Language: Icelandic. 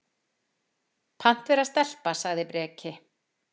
Pant vera stelpa, sagði Breki.